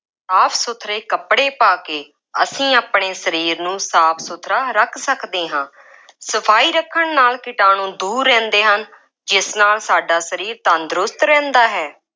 ਸਾਫ ਸੁਥਰੇ ਕੱਪੜੇ ਪਾ ਕੇ, ਅਸੀਂ ਆਪਣੇ ਸਰੀਰ ਨੂੰ ਸਾਫ ਸੁਥਰਾ ਰੱਖ ਸਕਦੇ ਹਾਂ। ਸਫਾਈ ਰੱਖਣ ਨਾਲ ਕੀਟਾਣੂੰ ਦੂਰ ਰਹਿੰਦੇ ਹਨ ਜਿਸ ਨਾਲ ਸਾਡਾ ਸਰੀਰ ਤੰਦਰੁਸਤ ਰਹਿੰਦਾ ਹੈ।